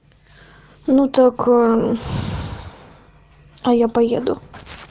ну так а я поеду